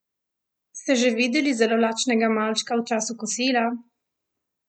Ste že videli zelo lačnega malčka v času kosila?